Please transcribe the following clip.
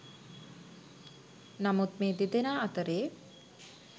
නමුත් මේ දෙදෙනා අතරේ